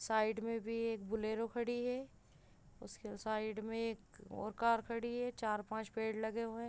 Side में भी एक बोलोरो खड़ी है उसके साइड मे एक और कार खड़ी है चार पाँच पेड़ खड़े हैं।